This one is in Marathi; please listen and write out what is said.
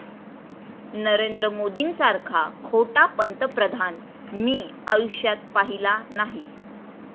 नरेंद्र मोदींसारखा खोटा पंतप्रधान मी आयुष्यात पाहिला नाही.